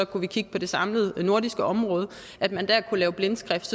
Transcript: kunne kigge på det samlede nordiske område er blindskrift